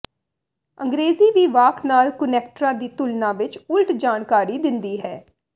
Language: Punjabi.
ਅੰਗ੍ਰੇਜ਼ੀ ਵੀ ਵਾਕ ਨਾਲ ਕੁਨੈਕਟਰਾਂ ਦੀ ਤੁਲਨਾ ਵਿਚ ਉਲਟ ਜਾਣਕਾਰੀ ਦਿੰਦੀ ਹੈ